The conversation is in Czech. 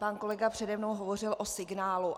Pan kolega přede mnou hovořil o signálu.